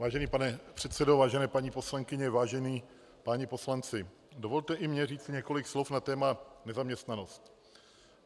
Vážený pane předsedo, vážené paní poslankyně, vážení páni poslanci, dovolte i mně říct několik slov na téma nezaměstnanost.